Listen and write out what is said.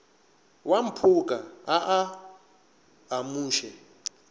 wa mphoka a a amuše